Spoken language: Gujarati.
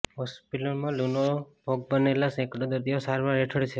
હોસ્પિટલમાં લુનો ભોગ બનેલા સેંકડો દર્દીઓ સારવાર હેઠળ છે